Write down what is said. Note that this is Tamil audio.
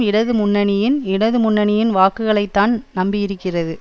இடது முன்னணியின் இடது முன்னணியின் வாக்குகளைத்தான் நம்பியிருக்கிறது